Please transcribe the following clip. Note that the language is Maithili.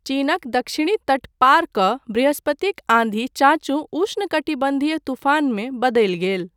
चीनक दक्षिणी तट पार कऽ बृहस्पतिक आन्धी चान्चू उष्णकटिबन्धीय तूफानमे बदलि गेल।